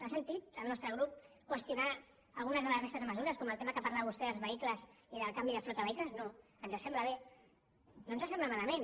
ha sentit al nostre grup qüestionar alguna de la resta de mesures com el tema que parlava vostè dels vehicles i del canvi de flota de vehicles no ens sembla bé no ens sembla malament